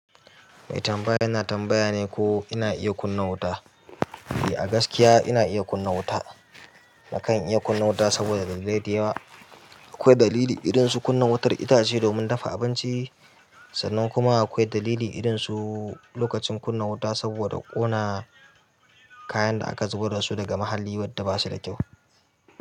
Mai tambaya ina tambaya ne ko ina iya kunna wuta? I a gaskiya ina iya kunna wuta. Nakan iya kunna wuta saboda dalilai da yawa. Akwai dalili irin su kunna wutar itace domin dafa abinci, sannan kuma akwai dalili irin su lokacin kunna wuta saboda ƙona kayan da aka zubar da su daga muhalli wadda ba su da kyau.